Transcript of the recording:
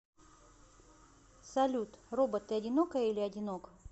салют робот ты одинокая или одинок